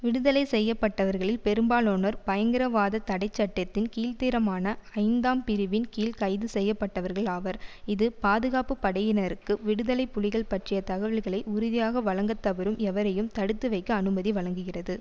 விடுதலை செய்ய பட்டவர்களில் பெரும்பாலானோர் பயங்கரவாதத் தடை சட்டத்தின் கீழ்த்திரமான ஐந்தாம் பிரிவின் கீழ் கைது செய்ய பட்டவர்கள் ஆவர் இது பாதுகாப்பு படையினருக்கு விடுதலை புலிகள் பற்றிய தகவல்களை உறுதியாக வழங்க தவறும் எவரையும் தடுத்து வைக்க அனுமதி வழங்குகிறது